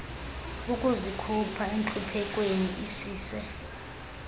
ukuzikhupha entluphekweni isise